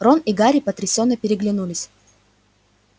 рон и гарри потрясенно переглянулись